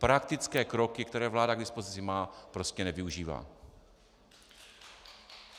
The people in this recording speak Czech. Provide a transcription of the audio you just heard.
Praktické kroky, které vláda k dispozici má, prostě nevyužívá.